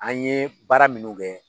An ye baara minnu kɛ